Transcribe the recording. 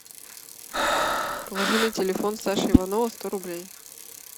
положи на телефон саши иванова сто рублей